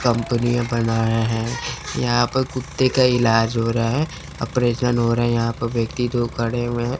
कंपनीया बनाया है। यहां पर कुत्ते का इलाज हो रहा है। ऑपरेशन हो रहा है। यहां पर व्यक्ति दो खड़े हुए है।